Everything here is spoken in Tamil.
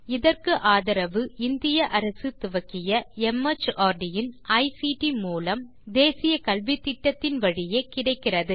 இதற்கு ஆதரவு இந்திய அரசு துவக்கிய மார்ட் இன் ஐசிடி மூலம் தேசிய கல்வித்திட்டத்தின் வழியே கிடைக்கிறது